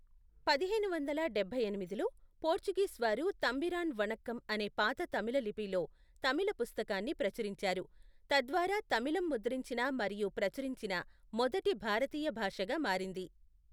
పదిహేను వందల డబ్బై ఎనిమిదిలో, పోర్చుగీస్ వారు తంబిరాన్ వణక్కం అనే పాత తమిళ లిపిలో తమిళ పుస్తకాన్ని ప్రచురించారు, తద్వారా తమిళం ముద్రించిన మరియు ప్రచురించిన మొదటి భారతీయ భాషగా మారింది.